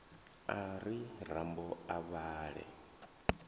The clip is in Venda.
a ri rambo a vhale